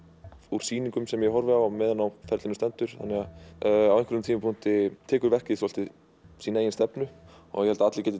úr sýningum sem ég horfði á á meðan á ferlinu stendur þannig að á einhverjum tímapunkti tekur verkið svolítið sína eigin stefnu ég held að allir geti